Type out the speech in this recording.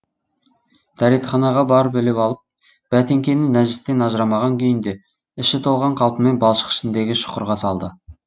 дәретханаға барып іліп алып бәтеңкені нәжістен ажырамаған күйінде іші толған қалпымен балшық ішіндегі шұқырға салды